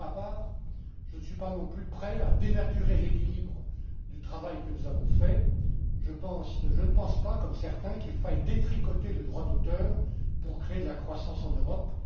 Pour ma part, je ne suis pas non plus prêt à dénaturer l'équilibre du travail que nous avons fait. Je ne pense pas, comme certains, qu'il faille détricoter le droit d'auteur pour créer de la croissance en Europe.